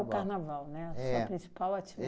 É o Carnaval, né? A sua principal